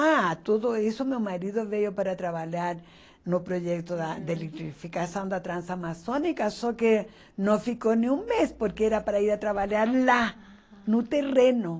Ah, tudo isso meu marido veio para trabalhar no projeto da de eletrificação da Transamazônica, só que não ficou nem um mês, porque era para ir trabalhar lá, no terreno.